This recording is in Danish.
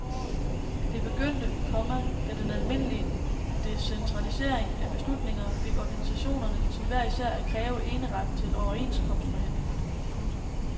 Det begyndte, komma da den almindelige decentralisering af beslutninger fik organisationerne til hver især at kræve eneretten til overenskomstforhandlingerne. punktum